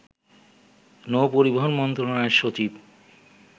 নৌপরিবহন মন্ত্রণালয়ের সচিব